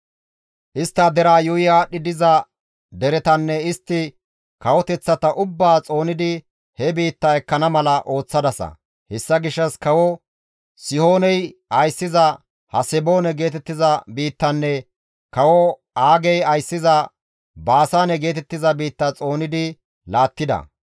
«Istta deraa yuuyi aadhdhi diza deretanne istti kawoteththata ubbaa xoonidi he biitta ekkana mala ooththadasa; hessa gishshas kawo Sihooney ayssiza Haseboone geetettiza biittanne kawo Aagey ayssiza Baasaane geetettiza biitta xoonidi laattida.